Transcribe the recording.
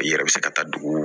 I yɛrɛ bɛ se ka taa dugu